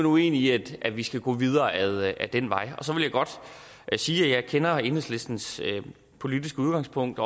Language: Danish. uenige i at vi skal gå videre ad den vej så vil jeg godt sige at jeg kender enhedslistens politiske udgangspunkt